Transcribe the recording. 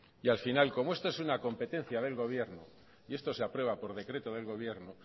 y al final como esto es una competencia del gobierno y esto se aprueba por decreto del gobierno